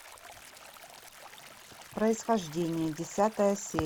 происхождение десятая серия